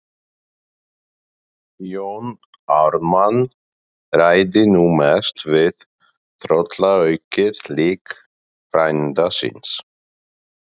Jón Ármann ræddi nú mest við tröllaukið lík frænda síns.